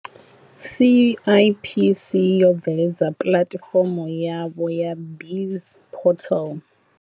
CIPC yo bveledza pulatifomo yavho ya BizPortal.